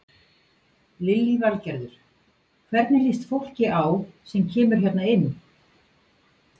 Lillý Valgerður: Hvernig líst fólki á sem kemur hérna inn?